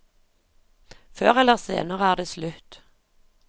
Før eller senere er det slutt.